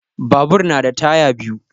Babur na da taya biyu.